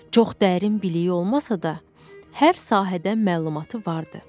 Çox dərin biliyi olmasa da, hər sahədən məlumatı vardı.